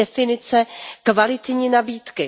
definice kvalitní nabídky.